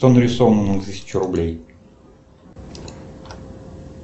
что нарисовано на тысячу рублей